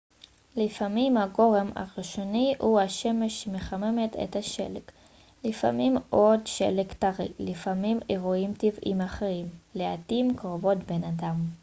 לפעמים הגורם הראשוני הוא השמש שמחממת את השלג לפעמים עוד שלג טרי לפעמים אירועים טבעיים אחרים לעתים קרובות בן אדם